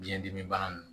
Biyɛn dimi bana nunnu